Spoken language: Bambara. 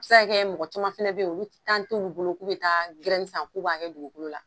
A bi se ka kɛ mɔgɔ caman fɛnɛ be yen olu ti t'olu bolo k'u bi taa san k'u b'a kɛ dugukolo la.